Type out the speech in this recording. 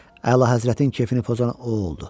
Əlahəzrətin kefini pozan o oldu.